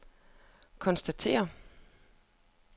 konstaterer